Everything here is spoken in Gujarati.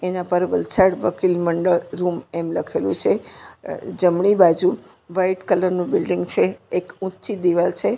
એના પર વલસાડ વકિલ મંડળ રૂમ એમ લખેલું છે અહ જમણી બાજુ વ્હાઈટ કલર નું બિલ્ડીંગ છે એક ઊંચી દિવાલ છે.